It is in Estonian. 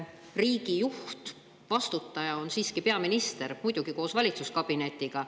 Sest riigi juht ja vastutaja on siiski peaminister, muidugi koos valitsuskabinetiga.